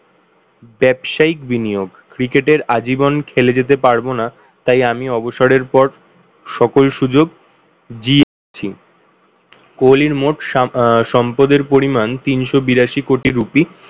ব্যবসায়িক বিনিয়োগ। cricket এর আজীবন খেলে যেতে পারবোনা তাই আমি অবসরের পর সকল সুযোগ কোহলির মোট সা~ আহ সম্পদের পরিমান তিনশো বিরাশি কোটি রুপি